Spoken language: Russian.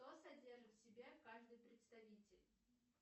что содержит в себе каждый представитель